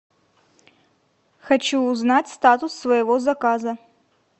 хочу узнать статус своего заказа